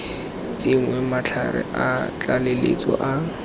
tsenngwe matlhare a tlaleletso a